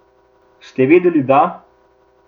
Ste vedeli, da ...